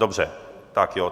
Dobře, tak jo.